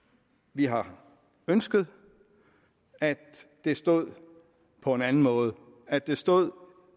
vi har ønsket at det stod på en anden måde at det stod